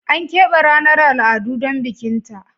Ana keɓe ranar al'adu don bikin ta